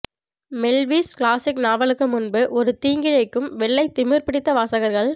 Melville's classic நாவலுக்கு முன்பு ஒரு தீங்கிழைக்கும் வெள்ளை திமிர்பிடித்த வாசகர்கள்